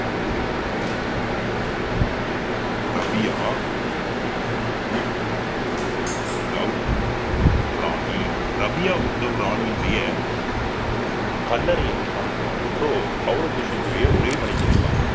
Rabia ~Uddhav Rani Rabia Uddhav ராணியினுடைய கல்லறையை நிர்மாணிக்கிறார் so ஔரங்கசீப்னுடைய ஒரே மனைவி அவங்கதான்